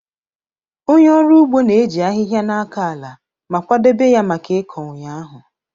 Onye ọrụ ugbo na-eji ahịhịa na-akọ ala ma kwadebe ya maka ịkọ ụnyaahụ.